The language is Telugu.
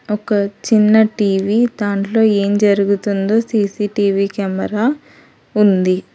ఒక చిన్న టీ_వీ దాంట్లో ఏం జరుగుతుందో సీ_సీ_టీ_వీ కెమెరా ఉంది.